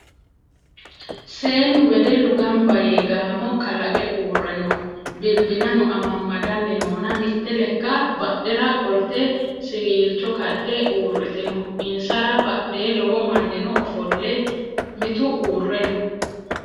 Seennu wedellu gambba yee gaamo kalaqe uurre no. Bilbilano amammadanni noona mitte lekka badhera qo'lite siwiilicho kadde uurritino. Insara badhee lowo manninno ofolle mitu uurre no.